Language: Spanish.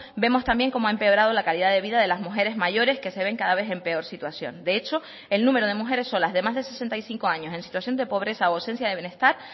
vemos también cómo ha empeorado la calidad de vida de las mujeres mayores que se ven cada vez en peor situación de hecho el número de mujeres solas de más de sesenta y cinco años en situación de pobreza o ausencia de bienestar